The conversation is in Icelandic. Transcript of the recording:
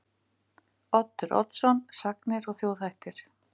Oddur Oddsson: Sagnir og þjóðhættir.